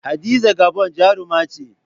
Hadiza Gabon jaruma ce.